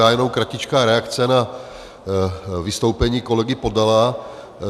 Já jenom kratičkou reakci na vystoupení kolegy Podala.